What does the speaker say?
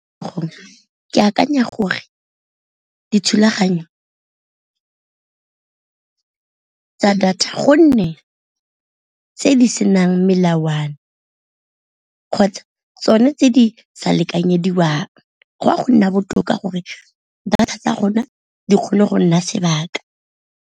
Ke akanya gore dithulaganyo tsa data gonne tse di senang melawana kgotsa tsone tse di sa lekanyediwang, go ya go nna botoka gore data tsa rona di kgone go nna sebaka.